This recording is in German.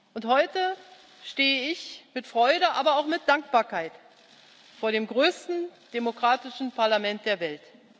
Und heute stehe ich mit Freude, aber auch mit Dankbarkeit, vor dem größten demokratischen Parlament der Welt.